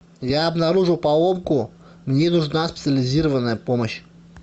я обнаружил поломку мне нужна специализированная помощь